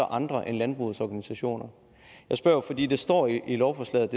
andre end landbrugets organisationer jeg spørger jo fordi der står i lovforslaget